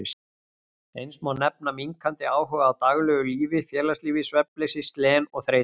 Eins má nefna minnkandi áhuga á daglegu lífi og félagslífi, svefnleysi, slen og þreytu.